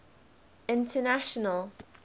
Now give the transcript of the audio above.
international